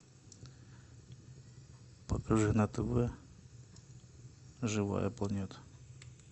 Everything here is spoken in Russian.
покажи на тв живая планета